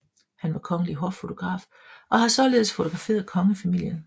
Han var kongelig hoffotograf og har således fotograferet kongefamilien